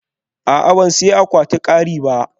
A'a, ban sayi akwatin kari ba